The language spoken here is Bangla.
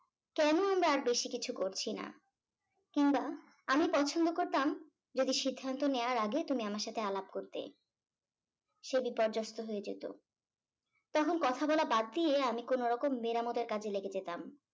কেন আমরা আর বেশি কিছু করছি না কিংবা আমি পছন্দ করতাম যদি সিদ্ধান্ত নেয়ার আগে তুমি আমার সাথে আলাপ করতে সে বিপর্যস্ত হয়ে যেত তখন কথা বলা বাদ দিয়ে আমি কোন রকম মেরামতের কাজে লেগে যেতাম